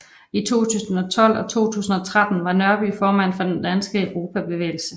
I 2012 til 2013 var Nørby formand for Den Danske Europabevægelse